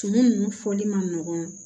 Tumu ninnu fɔli man nɔgɔn